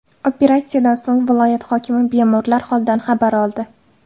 Operatsiyadan so‘ng viloyat hokimi bemorlar holidan xabar oldi.